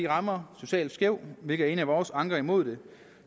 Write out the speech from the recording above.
rammer socialt skævt hvilket er en af vores anker mod dem